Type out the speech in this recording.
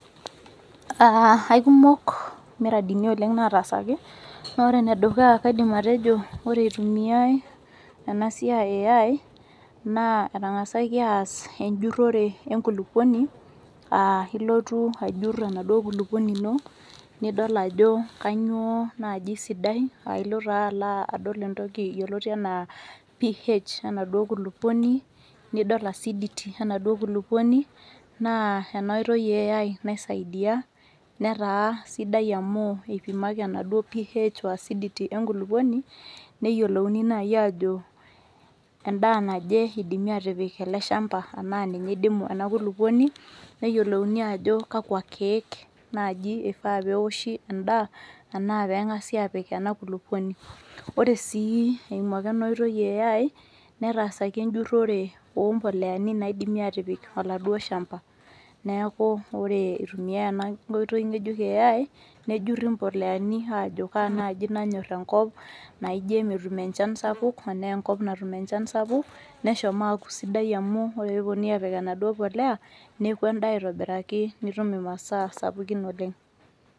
Aa aikumok imuradini oleng nataasaki naa ore ene dukuya kaidim atejo ore itumiay ena siai eAI naa etangasaki aas enjurore enkulupuoni aa ilotu ajur enaduo kulupuoni ino , nidol ajo kainyioo naji sidai nilo taa adol entoki yioloti anaa PH enaduo kulukuoni , nidol acidity enaduo kulukuoni naa enaoitoi eAI naisaidia , netaa sidai amu ipimaki enaduo PH oacidity enkulukuoni , neyiolouni naji ajo endaa naje idimi ele shamba , enaa ninye idimu ena kulukuoni , neyiolouni ajo kakwa kiek naji ifaa peoshi endaa anaa pengasi apik ena kulukuoni . Ore sii eimu ake enaoitoi eAI netaasaki enjurore ompoleani naidimi atipik oladuo shamba , neeku ore itumiay ena oitoi ngejuk eAI nejuri mpoleani ajo kaa naji nanyor enkop naijo emetum enchan anaa enkop natum enchan sapuk , neshomo aaku sidai amu ,ore peeponuni apik enaduo polea neku endaa aitobiraki , nitum imasaa sapukin oleng.